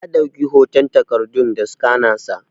Ya dauki hoton takardun da scanner sa.